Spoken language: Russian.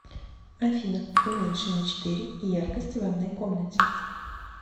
афина уменьши на четыре яркость в ванной комнате